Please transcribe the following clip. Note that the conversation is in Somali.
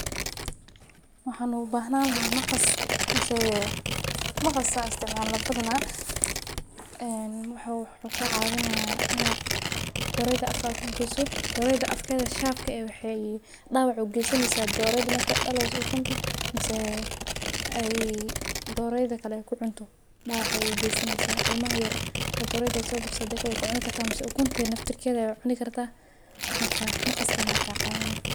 Waxa loo baahan yahay maqas. Wuxuu ka caawinayaa dhorada, afkeeda ku qoyso. Afkeeda waa (sharp). Waxa dhaawac u geysan kartaa dhorada marka ay ukunta dhasho, ama dhorada kale ku cunto, ama ilmaha yar cunayo, ama ukunta cunayo. Maqasku wuu ka caawinayaa.